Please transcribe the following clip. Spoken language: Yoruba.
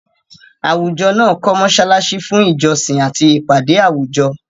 Àwùjọ náà kọ́ mọ́ṣáláṣí fún ìjọsìn àti ìpàdé àwùjọ.